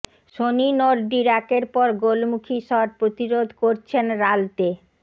Sony নর্ডির একের পর গোলমুখি শট প্রতিরোধ করছেন রালতে